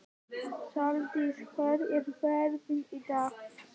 Saldís, hvernig er veðrið í dag?